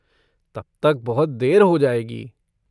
तब तक बहुत देर हो जाएगी।